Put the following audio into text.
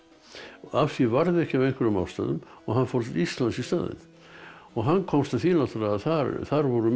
af því varð ekki af einhverjum ástæðum og hann fór til Íslands í staðinn og hann komst að því að þar voru menn